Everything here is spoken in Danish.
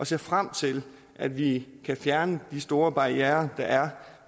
ser frem til at vi i hele kan fjerne de store barrierer der er